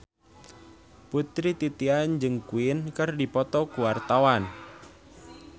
Putri Titian jeung Queen keur dipoto ku wartawan